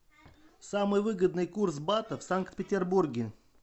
самый выгодный курс бата в санкт петербурге